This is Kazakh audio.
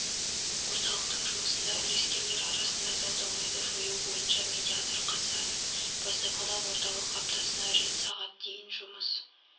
орталықтың жұмысында үлескерлер арасында дау-дамайды жою бойынша медиатор қатысады бастапқыда орталық аптасына рет сағат дейін жұмыс